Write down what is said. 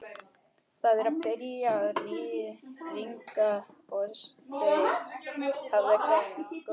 Það er byrjað að rigna og þeir herða gönguna.